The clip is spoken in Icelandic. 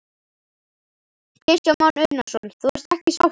Kristján Már Unnarsson: Þú ert ekki sáttur?